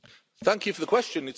Thank you for the question